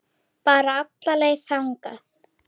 Bara alla leið þangað!